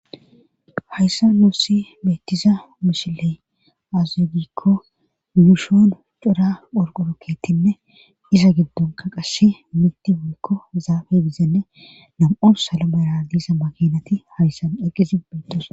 hayssan nuossi beettiza mishiley azuegikko mushoon cora orqorokkeetinne iza giddonka qasshe mitti woykko zaafe gizenne nam7on sala mera diisa makinati hayssan eqqisi bintos